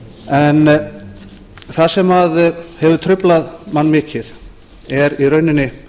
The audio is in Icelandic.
en það sem hefur truflað mann mikið er í rauninni